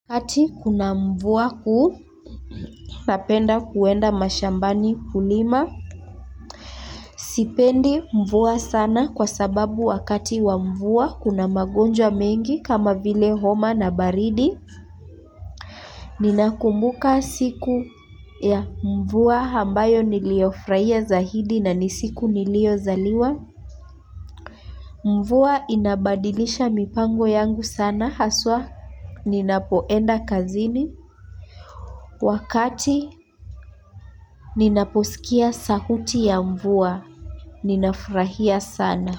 Wakati kuna mvua kubwa, napenda kwenda mashambani kulima. Sipendi mvua sana kwa sababu wakati wa mvua kuna magonjwa mengi kama vile homa na baridi. Ninakumbuka siku ya mvua ambayo niliyofurahia zaidi na ni siku niliyozaliwa. Mvua inabadilisha mipango yangu sana, hasa ninapoenda kazini. Wakati ninaposikia sauti ya mvua, ninafurahia sana.